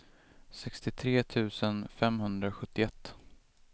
sextiotre tusen femhundrasjuttioett